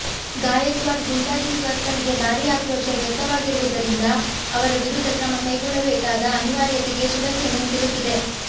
ಗಾಯಕ್ವಾಡ್ ಗೂಂಡಾಗಿರಿ ವರ್ತನೆಗೆ ಭಾರೀ ಆಕ್ರೋಶ ವ್ಯಕ್ತವಾಗಿರುವುದರಿಂದ ಅವರ ವಿರುದ್ಧ ಕ್ರಮ ಕೈಗೊಳ್ಳಬೇಕಾದ ಅನಿವಾರ್ಯತೆಗೆ ಶಿವಸೇನೆ ಸಿಲುಕಿದೆ